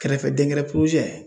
Kɛrɛfɛ den gɛrɛ